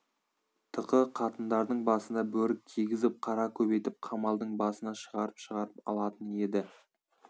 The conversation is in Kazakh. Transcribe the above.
тықы қатындардың басына бөрік кигізіп қара көбейтіп қамалдың басына шығарып-шығарып алатын еді